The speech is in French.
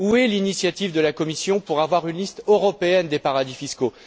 Où est l'initiative de la Commission pour avoir une liste européenne des paradis fiscaux?